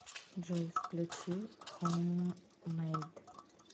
джой включи хоум мейд